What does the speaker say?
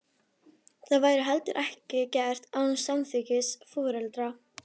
Það væri heldur ekki gert án samþykkis foreldra.